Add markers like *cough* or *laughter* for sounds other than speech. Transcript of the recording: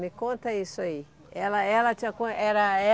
Me conta isso aí. ela ela te *unintelligible* era